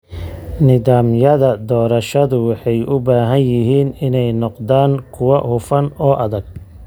Nidaamyada doorashadu waxay u baahan yihiin inay noqdaan kuwo hufan oo adag.